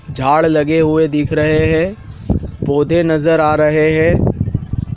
झाड़ लगे हुए दिख रहे हैं। पौधे नजर आ रहे हैं।